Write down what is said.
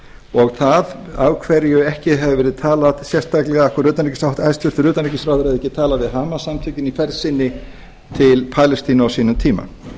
og það af hverju hæstvirts utanríkisráðherra hefði ekki talað við hamas samtökin í ferð sinni til palestínu á sínum tíma